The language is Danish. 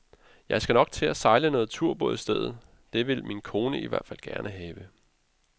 Jeg skal nok til at sejle noget turbåd i stedet, det vil min kone i hvert fald gerne have.